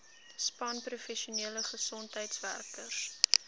span professionele gesondheidswerkers